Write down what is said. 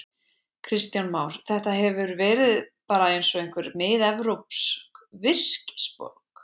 Kristján Már: Þetta hefur svona verið bara eins og einhver miðevrópsk virkisborg?